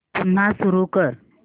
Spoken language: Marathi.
पुन्हा सुरू कर